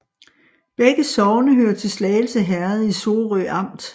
Begge sogne hørte til Slagelse Herred i Sorø Amt